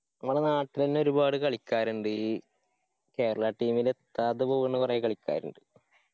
നമ്മളെ നാട്ടിലെന്നെ ഒരുപാട് കളിക്കാരിണ്ട് Kerala team ല് എത്താതെ പോകുന്ന കൊറേ കളിക്കാരിണ്ട്